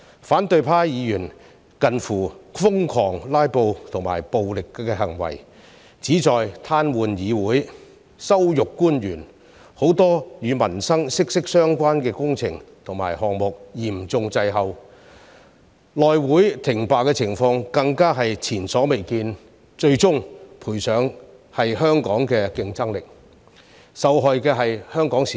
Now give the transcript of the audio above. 反對派議員近乎瘋狂的"拉布"和暴力行為，旨在癱瘓議會、羞辱官員，令很多與民生息息相關的工程項目嚴重滯後，內務委員會停擺的情況更加是前所未見，最終賠上的是香港的競爭力，受害的是香港市民。